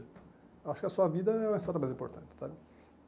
Acho que a sua vida é a história mais importante, sabe?